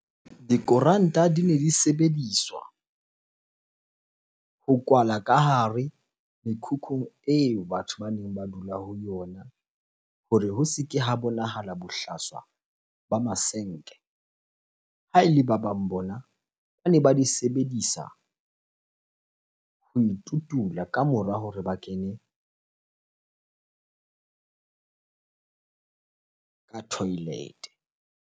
Dikoranta dine di sebediswa ho kwala ka hare mekhukhung eo batho baneng ba dula ho yona hore ho se ke ha bonahala bohlaswa ba masenke. Ha ele ba bang bona, bane ba di sebedisa ho itutula ka mora hore ba kene ka toilet-e.